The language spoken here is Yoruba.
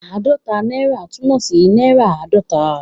Ààdọ́ta náírà' túmọ̀ sí náírà àádọ́ta.